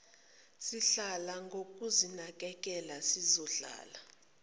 sihlala ngokuzinakekela sizohlala